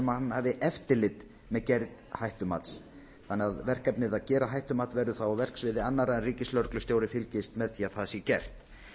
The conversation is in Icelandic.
hann hafi eftirlit með gerð hættumats þannig að verkefnið að gera hættumat verður þá á verksviði annarra en ríkislögreglustjóri fylgist með því að það sé gert